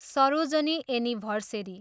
Sarojini anniversary.